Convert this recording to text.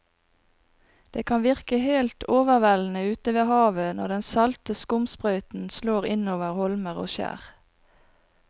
Det kan virke helt overveldende ute ved havet når den salte skumsprøyten slår innover holmer og skjær.